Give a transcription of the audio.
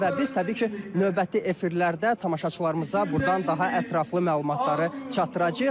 Və biz təbii ki, növbəti efirlərdə tamaşaçılarımıza buradan daha ətraflı məlumatları çatdıracağıq.